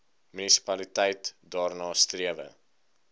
munisipaliteit daarna strewe